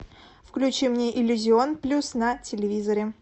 включи мне иллюзион плюс на телевизоре